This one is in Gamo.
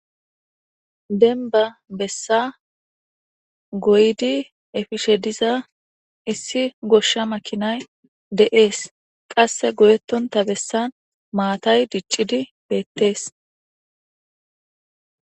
denba bessa goydi efishe diza issi goshsha makinay de7ees qasse goyetonta bessan maatay diccidi beettees